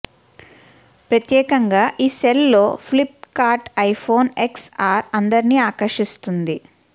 ప్రత్యేకంగా ఈ సేల్ లో Flipkart iPhone X R అందరిని ఆకర్షిస్తుంది